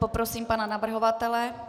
Poprosím pana navrhovatele.